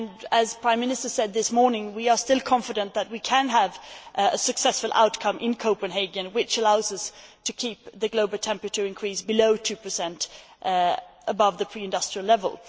As the Prime Minister said this morning, we are still confident that we can have a successful outcome in Copenhagen which allows us to keep the global temperature increase below 2 o C above the pre industrial level.